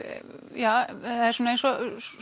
ja það er eins og